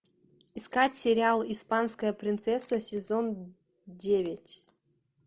искать сериал испанская принцесса сезон девять